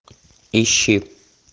ищи